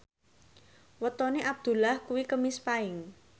wetone Abdullah kuwi Kemis Paing